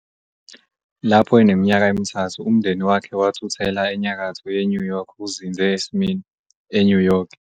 Lapho eneminyaka emithathu umndeni wakhe wathuthela enyakatho yeNew York uzinze eSmyrna, eNew York.